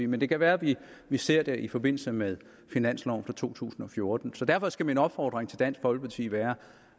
men det kan være vi vi ser det i forbindelse med finansloven for to tusind og fjorten så derfor skal min opfordring til dansk folkeparti være